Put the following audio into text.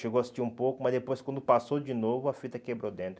Chegou a assistir um pouco, mas depois quando passou de novo, a fita quebrou dentro.